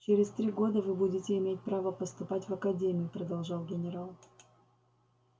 через три года вы будете иметь право поступать в академию продолжал генерал